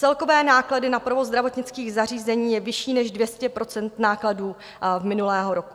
Celkové náklady na provoz zdravotnických zařízení je vyšší než 200 % nákladů z minulého roku.